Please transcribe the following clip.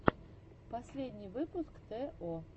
последний выпуск тэ о